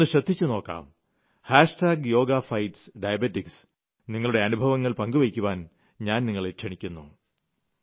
ഒന്നു ശ്രദ്ധിച്ചുനോക്കാം hashtag yoga fights diabetes നിങ്ങളുടെ അനുഭവങ്ങൾ പങ്കുവെയ്ക്കുവാൻ ഞാൻ നിങ്ങളെ ക്ഷണിക്കുന്നു